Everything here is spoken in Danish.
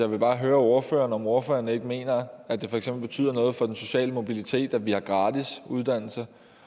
vil bare høre ordføreren om ordføreren ikke mener at det for eksempel betyder noget for den sociale mobilitet at vi har gratis uddannelse